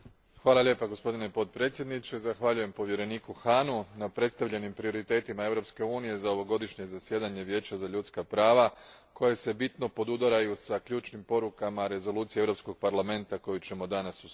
Gospodine predsjedniče, zahvaljujem povjereniku Hahnu na predstavljenim prioritetima Europske unije za ovogodišnje zasjedanje Vijeća za ljudska prava koji se bitno podudaraju s ključnim porukama rezolucije Europskog parlamenta koju ćemo danas usvojiti.